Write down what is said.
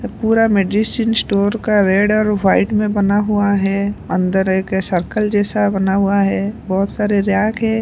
पूरा medicine store का red और व्हाइट में बना हुआ है अंदर एक सर्कल जैसा बना हुआ है बहोत सारे रैक हैं।